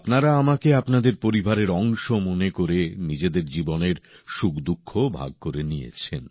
আপনারা আমাকে আপনাদের পরিবারের অংশ মনে করে নিজেদের জীবনের সুখদুঃখও ভাগ করে নিয়েছেন